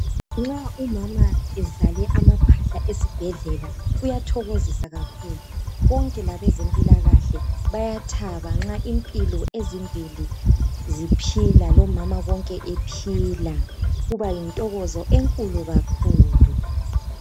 Nxa umama ebelethe amaphahla esibhedlela kuyathokozisa kakhulu bonke labezempilakahle bayathaba nxa impilo ezimbili ziphila lomama bonke bephila kuba yintokozo enkulu kakhulu.